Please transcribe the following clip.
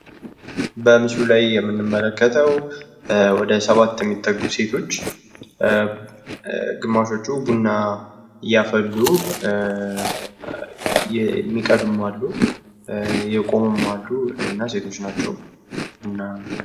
በምስሉ ላይ የምንመለከተው ወደ ሰባት የሚደርሱ ሴቶች ግማሾቹ ቡና እያፈሉ ሲሆን የሚቀዱም አሉ፤ የቆሙም አሉ።